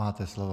Máte slovo.